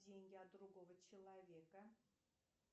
деньги от другого человека